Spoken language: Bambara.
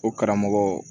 O karamɔgɔ